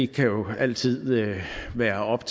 kan jo altid være op